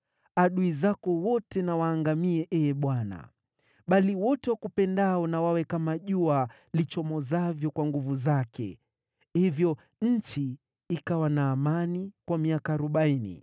“Adui zako wote na waangamie, Ee Bwana ! Bali wote wakupendao na wawe kama jua lichomozavyo kwa nguvu zake.” Hivyo nchi ikawa na amani kwa miaka arobaini.